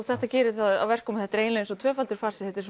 þetta gerir það að verkum að þetta er eins og tvöfaldur farsi þetta er